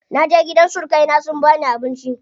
Naje gidan surukai na sun bani abinci.